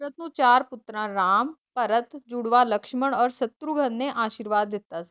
ਚਾਰ ਪੁਤਰਾਂ ਰਾਮ, ਭਰਤ, ਜੁੜਵਾ ਲਕਸ਼ਮੰਨ ਔਰ ਸ਼ਤਰੁਗਨ ਨੇ ਆਸ਼ੀਰਵਾਦ ਲੀਤਾ ਸੀ